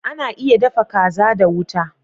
Ana iya dafa kaza da wuta